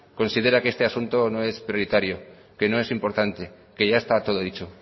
considera que este asunto no es prioritario que no es importante que ya está todo dicho